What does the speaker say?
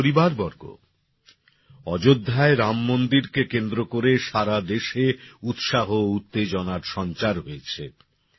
আমার পরিবারবর্গ অযোধ্যায় রামমন্দিরকে কেন্দ্র করে সারা দেশে উৎসাহ ও উত্তেজনার সঞ্চার হয়েছে